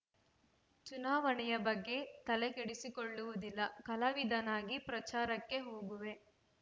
ಚುನಾವಣೆ ಬಗ್ಗೆ ತಲೆ ಕೆಡಿಸಿಕೊಳ್ಳುವುದಿಲ್ಲ ಕಲಾವಿದನಾಗಿ ಪ್ರಚಾರಕ್ಕೆ ಹೋಗುವೆ